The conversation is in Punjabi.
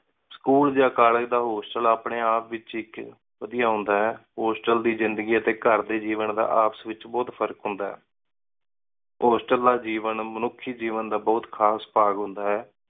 ਸਕੂਲ ਯਾ ਕੋਲ੍ਲੇਗੇ ਦਾ ਹੋਸਟਲ ਅਪਨੀ ਆਪ ਏਚ ਇਕ ਵਾਦਿਯ ਹੁੰਦਾ ਹੈ ਹੋਸਟਲ ਦੀ ਜ਼ਿੰਦਗੀ ਟੀ ਘਰ ਡੀ ਜੇਵਾਂ ਦਾ ਆਪਸ ਏਚ ਬੋਹਤ ਫ਼ਰਕ ਹੁੰਦਾ ਹੈ ਹੋਸਟਲ ਦਾ ਜੇਵਾਂ ਮਨੁਖੀ ਜੇਵਾਂ ਦਾ ਬੋਹਤ ਖਾਸ ਭਾਗ ਹੁੰਦਾ ਹੈ